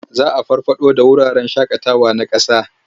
Za a farfaɗo da wuraren shaƙawawa na ƙasa.